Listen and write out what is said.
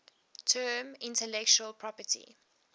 term intellectual property